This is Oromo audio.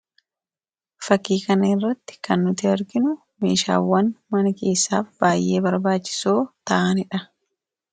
Fakkii kana irratti kan nuti arginu, meeshaawwan mana keessaa baay'ee barbaachisouo ta'aniidha.